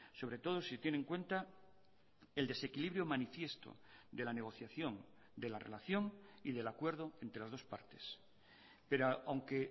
sobre todo si tiene en cuenta el desequilibrio manifiesto de la negociación de la relación y del acuerdo entre las dos partes pero aunque